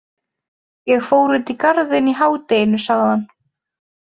Ég fór út í Garðinn í hádeginu sagði hann.